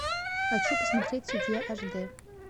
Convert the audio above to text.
хочу посмотреть судья аш дэ